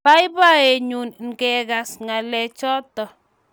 Boiboiyenyu ngagas ngalechoto